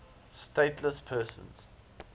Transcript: stateless persons